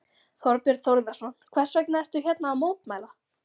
Þorbjörn Þórðarson: Hvers vegna ertu hérna að mótmæla?